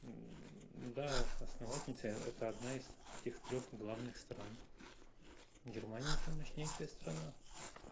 да основательница это одна из этих трёх главных стран германия это мощная страна